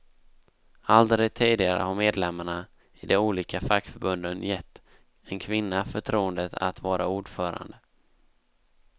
Aldrig tidigare har medlemmarna i de olika fackförbunden gett en kvinna förtroendet att vara ordförande.